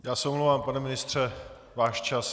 Já se omlouvám, pane ministře, váš čas.